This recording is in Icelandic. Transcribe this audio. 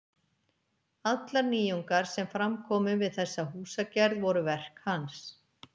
Allar nýjungar sem fram komu við þessa húsagerð voru verk hans.